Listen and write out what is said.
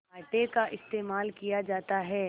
आटे का इस्तेमाल किया जाता है